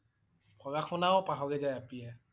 পঢ়া শুনা ও পাহৰি যায় আপিয়ে।